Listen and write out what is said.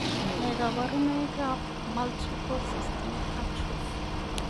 Nee kabarunoikab Multiple System atrophy?